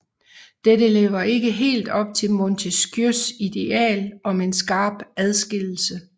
Dette lever ikke helt op til Montesquieus ideal om en skarp adskillelse